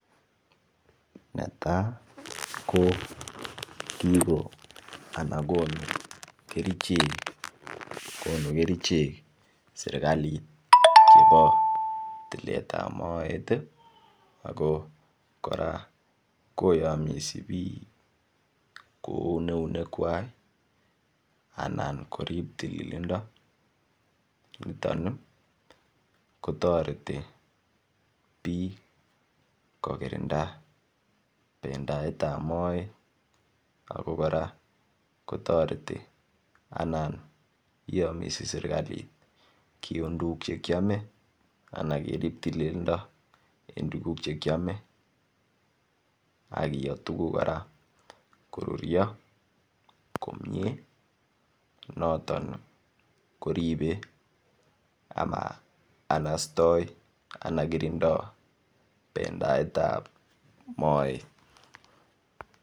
Netai ko konu kerichek serkalit chebo tuletab moet kora koyamis bik koun eunekwak korib tililindo niton ko toreti bik kokirinda bendietap moet kora kotoreti anan iyamisi serkali kiun tuguk Che kiame Anan kerib tililindo en tuguk Che kiame ak koyoo tuguk kora koruryo komie noton koribe anan istoi bendietap moet